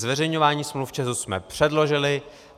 Zveřejňování smluv ČEZu jsme předložili.